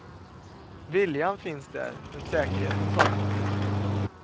Viljan finns där, men säkerheten saknas.